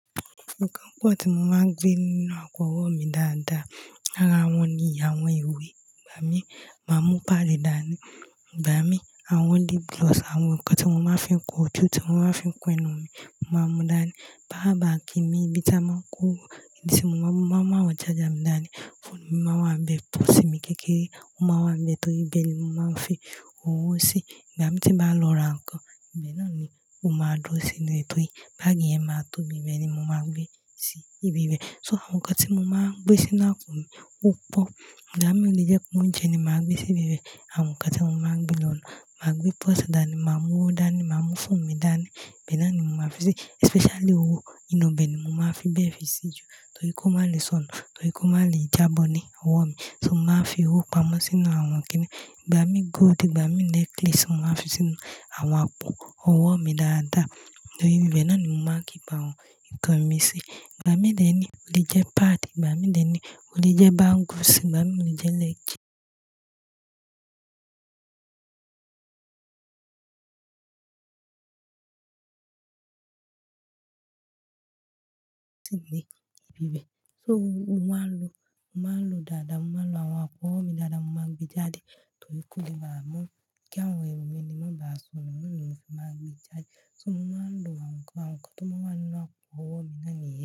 Nǹkan kan tí mo máa ń gbé nínú àpò ọwọ́ mi dáadáa lára wọn ni àwọn ìwé, ìgbà mí máa mú pàdi dání, ìgbà mí àwọn lip gloss, àwọn nǹkan tí mo máa ń fi kun ojù tí wọ́n máa ń fi kún ẹnu mi, mo máa mú dání. Power bank mi, ibi tí a máa ń kó owó, ibi tí mo máa ń mú àwọn charger mi dání, fóònù mi máa ń wà níbẹ̀, purse mi kékeré, ó máa wà níbẹ̀ torí bẹ́ẹ̀ ni mo máa ń fi owó sí i. Ìgbà mí tí màá lọ ra nǹkan, ibẹ̀ náà ni ó máa dúró sí inú e, torí báágì yẹn máa tóbi, bẹ́ẹ̀ ni mo máa gbé sí ibi bẹ́ẹ̀. So àwọn nǹkan tí mo máa ń gbé sínú àpò mi pọ̀, ìgbà mí ilé jẹ́ kí n jẹ ni màá gbé sí ibi bẹ́ẹ̀. Àwọn nǹkan tí mo máa ń gbé lọ̀ná, màá gbé púsà dání, màá mú ó dání, màá mú fún mi dání, ibẹ̀ náà ni mo máa fi sí i, especially owó, inú ibẹ̀ ni mo máa ń fi bẹ́ẹ̀ fi sí jù torí kó má lè sọnù, torí kó má lè jábọ́ ní àwọ̀ mi. So mo máa ń fi owó pamọ́ sínú àwọn kíní. Ìgbà mí gold, ìgbà mí necklace, mo máa fi sínú àwọn àpò ọwọ́ mi dáadáa torí ibi bẹ́ẹ̀ náà ni mo máa ń keep àwọn nǹkan mi sí i. Ìgbà mí dènì, ó le jẹ́ páàdì, ìgbà mí dènì, ó le jẹ́ bangle sì, ìgbà mí ó le jẹ́ led. Sínú ibi bẹ́ẹ̀. So mo máa ń lo, mo máa ń lo dáadáa, mo máa ń lo àwọn àpò ọwọ́ mi dáadáa, mo máa ń gbe jáde torí kí òdodo máa mú kí àwọn ewè mi ni mo máa bá sọnù, mo ní òfin máa gbé jáde. So mo máa ń lo àwọn nǹkan, àwọn nǹkan tí mo wá ńinu àpò ọwọ́ mi náà mìíràn.